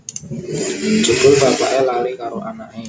Jebul bapake lali karo anake